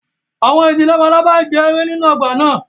Àwọn ìdin labalábá náà ń jẹ ewé nínú ọgbà náà